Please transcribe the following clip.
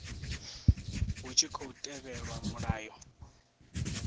hu tshi khou tevhelwa mulayo